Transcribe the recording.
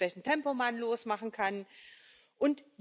professionelle Stützen. Ich durfte das kennenlernen.